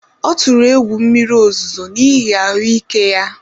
Ọ tụrụ egwu mmiri ozuzo n’ihi ahụ́ ike ya